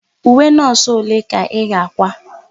Uwe nọọsụ ole ka ị ga-àkwá?